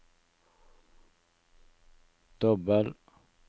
dobbel